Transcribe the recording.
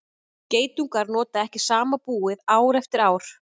geitungar nota ekki sama búið ár eftir ár